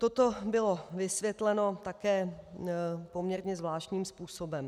Toto bylo vysvětleno také poměrně zvláštním způsobem.